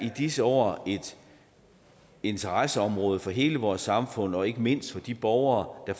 i disse år er et interesseområde for hele vores samfund og ikke mindst for de borgere der